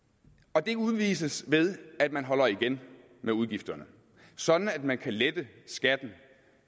og det udvises ved at man holder igen med udgifterne sådan at man kan lette skatten